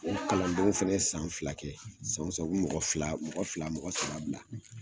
O kalandenw fana ye san fila kɛ san o san, u bi fila, mɔgɔ fila, mɔgɔ saba bila